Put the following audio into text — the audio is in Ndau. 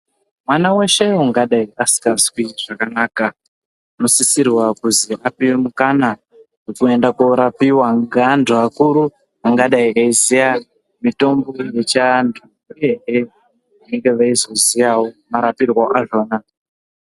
Mwana weshe ungadai usingazwi zvakanaka unosisirwa kuzi ape mukana kuti aende koorapiwa ngeantu akuru angadai eiziya mitombo yechiantu uyehe unge eizoziyawo marapirwe azvona.